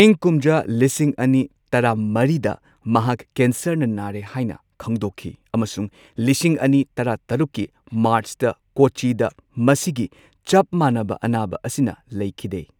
ꯏꯪ ꯀꯨꯝꯖꯥ ꯂꯤꯁꯤꯡ ꯑꯅꯤ ꯇꯔꯥꯃꯔꯤꯗ ꯃꯍꯥꯛ ꯀꯦꯟꯁꯔꯅ ꯅꯥꯔꯦ ꯍꯥꯏꯅ ꯈꯪꯗꯣꯛꯈꯤ ꯑꯃꯁꯨꯡ ꯂꯤꯁꯤꯡ ꯑꯅꯤ ꯇꯔꯥꯇꯔꯨꯛꯀꯤ ꯃꯥꯔꯆꯇ ꯀꯣꯆꯤꯗ ꯃꯁꯤꯒꯤ ꯆꯞ ꯃꯥꯟꯅꯕ ꯑꯅꯥꯕ ꯑꯁꯤꯅ ꯂꯩꯈꯤꯗꯦ꯫